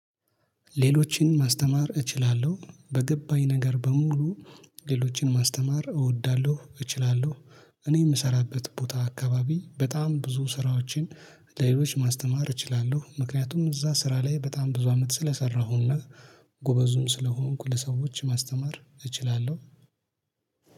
ሌሎችን ማስተማር እችላለሁ በገባኝ ነገር በሙሉ ሌሎችን ማስተማር እወዳለሁ። እችላለሁ እኔ የምሰራበት ቦታ አካባቢ በጣም ብዙ ስራዎችን ለሌሎች ማስተማር እችላለሁ። ምክንያቱም እዛ ስራ ላይ በጣም ብዙ አመት ስለሰራሁና ጎበዝም ስለሆንኩ ለሰዎች ማስተማር እችላለሁ።